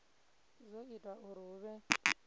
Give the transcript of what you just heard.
zwo ita uri hu vhe